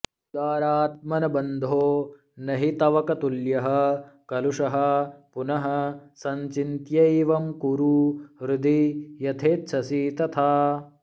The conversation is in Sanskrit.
उदारात्मन् बन्धो नहि तवकतुल्यः कलुषहा पुनः सञ्चिन्त्यैवं कुरु हृदि यथेच्छसि तथा